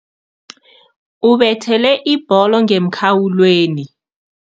Ubethele ibholo ngemkhawulweni.